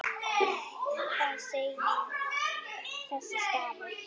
Hvað segir þessi stafur?